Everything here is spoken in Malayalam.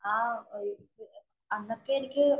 ഒരു അന്നത്തെ എനിക്ക്